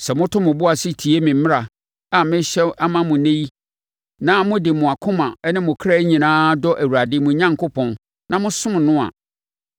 Sɛ moto mo bo ase tie me mmara a merehyɛ ama mo ɛnnɛ yi na mode mo akoma ne mo kra nyinaa dɔ Awurade, mo Onyankopɔn, na mosom no a,